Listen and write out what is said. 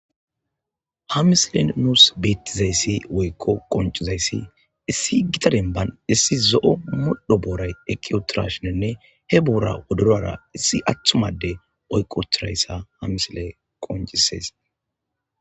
Ha misilen nuus beettizayssi woykko qoncizayssi issi gitadenban issi zo'o muldho booray ekiotirashinenne he buura wodorra issi atthumade oykkotirayssa ha misile qoncisees